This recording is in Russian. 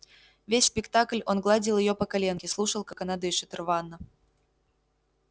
весь спектакль он гладил её по коленке слушал как она дышит рвано